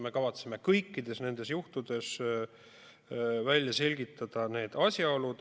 Me kavatseme kõikide nende juhtumite puhul asjaolud välja selgitada.